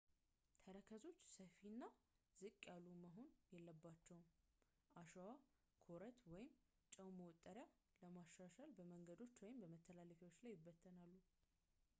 ተረከዞች ሰፊ እና ዝቅ ያሉ መሆን አለባቸው። አሸዋ፣ ኮረት ወይም ጨው መወጠሪያውን ለማሻሻል በመንገዶች ወይም በመተላለፊያዎች ላይ ይበተናሉ